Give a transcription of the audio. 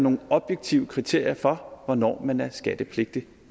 nogle objektive kriterier for hvornår man er skattepligtig